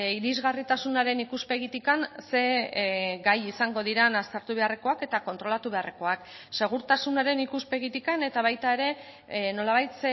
irisgarritasunaren ikuspegitik ze gai izango diren aztertu beharrekoak eta kontrolatu beharrekoak segurtasunaren ikuspegitik eta baita ere nolabait